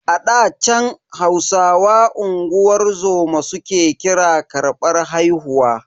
A ɗa chan, Hausawa unguwar zoma su ke kira karbar haihuwa.